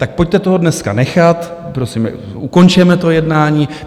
Tak pojďte toho dneska nechat, prosím, ukončeme to jednání.